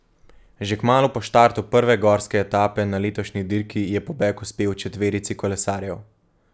Že kmalu po štartu prve gorske etape na letošnji dirki je pobeg uspel četverici kolesarjev.